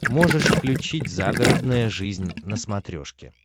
можешь включить загородная жизнь на смотрешке